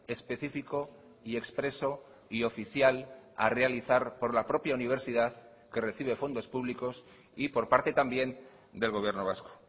específico y expreso y oficial a realizar por la propia universidad que recibe fondos públicos y por parte también del gobierno vasco